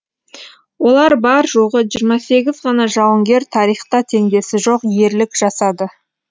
олар бар жоғы жиырма сегіз ғана жауынгер тарихта теңдесі жоқ ерлік жасады